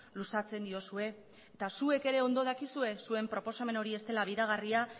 luzatzen diozue eta zuek ere ondo dakizue zuen proposamen hori ez dela bideragarria